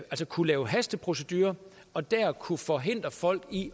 kunne lave hasteprocedurer og der kunne forhindre folk i